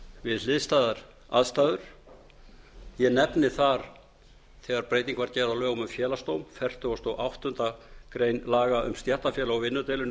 við hliðstæðar aðstæður ég nefni þar þegar breyting var gerð á lögum um félagsdóm fertugasta og áttundu grein laga um stéttarfélög og vinnudeilur